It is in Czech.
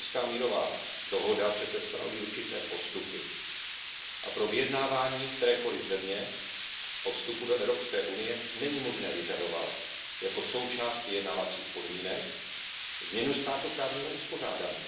Daytonská mírová dohoda přece stanoví určité postupy a pro vyjednávání kterékoliv země o vstupu do Evropské unie není možné vyžadovat jako součást vyjednávacích podmínek změnu státoprávního uspořádání.